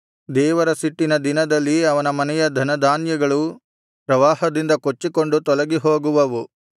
ದೇವರ ಸಿಟ್ಟಿನ ದಿನದಲ್ಲಿ ಅವನ ಮನೆಯ ಧನಧಾನ್ಯಗಳು ಪ್ರವಾಹದಿಂದ ಕೊಚ್ಚಿಕೊಂಡು ತೊಲಗಿಹೋಗುವವು